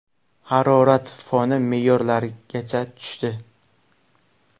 Harorat foni me’yorlargacha tushdi.